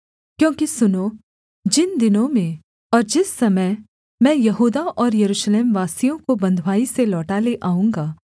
क्योंकि सुनो जिन दिनों में और जिस समय मैं यहूदा और यरूशलेमवासियों को बँधुवाई से लौटा ले आऊँगा